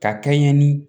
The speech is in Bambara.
Ka kɛɲɛ ni